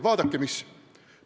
Vaadake, mis!